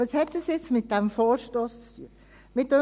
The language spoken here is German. Was hat dies nun mit dem Vorstoss zu tun?